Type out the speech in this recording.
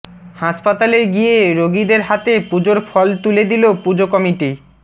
হাসপাতালে গিয়ে রোগীদের হাতে পুজোর ফল তুলে দিল পুজো কমিটি